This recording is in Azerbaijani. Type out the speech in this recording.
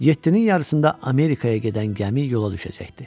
Yeddinin yarısında Amerikaya gedən gəmi yola düşəcəkdi.